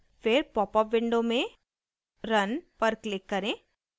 फिर popup window में run पर क्लिक करें